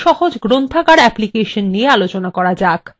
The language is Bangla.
একটি গ্রন্থাগারে সাধারণত বই থাকে